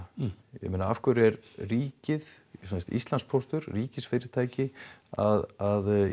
ég meina afhverju er ríkið sem sagt Íslandspóstur ríkisfyrirtæki að í